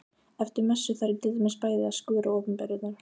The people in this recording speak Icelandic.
Eftir messu þarf ég til dæmis bæði að skúra opinberunar